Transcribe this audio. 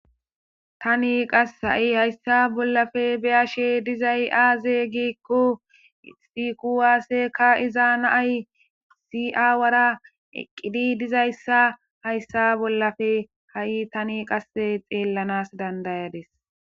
Tani qass ha'i hayssa bollafe beyashe dizay aaze giikku sikuwaasseka izaa naay si'awara eqqidi dizayssa hayssa bollafe ha'i tani qasse xeellanas dandayades.